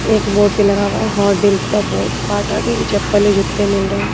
एक बोर्ड भी लगा हुआ है हॉट डील्स का बोर्ड बाटा के भी चप्पल्ले जूते मिल रहे हैं।